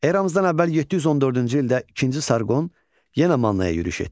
Eramızdan əvvəl 714-cü ildə ikinci Sarqon yenə Mannaya yürüş etdi.